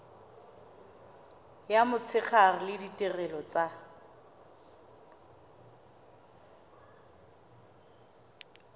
ya motshegare le ditirelo tsa